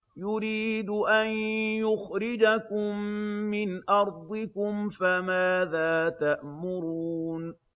يُرِيدُ أَن يُخْرِجَكُم مِّنْ أَرْضِكُمْ ۖ فَمَاذَا تَأْمُرُونَ